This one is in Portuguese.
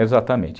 Exatamente.